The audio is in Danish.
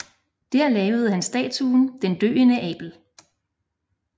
Der lavede han statuen Den døende Abel